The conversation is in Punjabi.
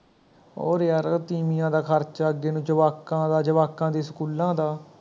ਹੋਰ ਯਾਰ ਤੀਵੀਆਂ ਦਾ ਖਰਚਾ, ਅੱਗੇ ਨੂੰ ਜਵਾਕਾਂ ਦਾ, ਜਵਾਕਾਂ ਦੇ ਸਕੂਲਾਂ ਦਾ